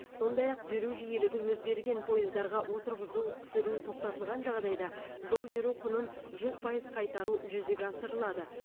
сондай ақ жүру жиілігі өзгерген пойыздарға отырғызу түсіру тоқтатылған жағдайда жол жүру құнын жүз пайыз қайтару жүзеге асырылады